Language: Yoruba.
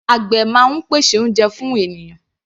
Àgbè máa ń pèsè oúnjẹ fún ènìyàn.